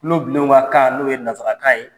Kulobilenw ka kan n'o ye nasarakan ye